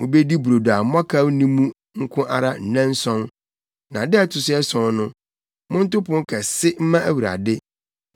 Mubedi brodo a mmɔkaw nni mu nko ara nnanson. Na da a ɛto so ason no, monto pon kɛse mma Awurade.